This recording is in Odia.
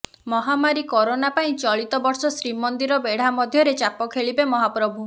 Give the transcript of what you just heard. ମହାମାରୀ କରୋନା ପାଇଁ ଚଳିତ ବର୍ଷ ଶ୍ରୀମନ୍ଦିର ବେଢା ମଧ୍ୟରେ ଚାପ ଖେଳିବେ ମହାପ୍ରଭୁ